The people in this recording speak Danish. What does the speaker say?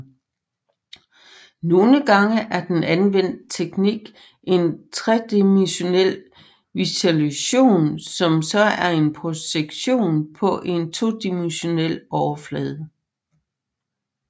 Nogle gange er den anvendte teknik en tredimensionel visualisation som så er en projektion på en todimensionel overflade